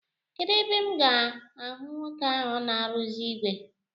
Kedụ ebe m ga-ahụ nwoke ahụ na-arụzi ìgwè?